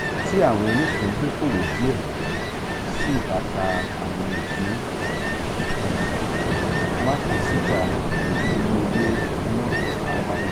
ti awọn onipindokowo diẹ sii ba ta awọn ipin isokan masesita idiyele naa a wale.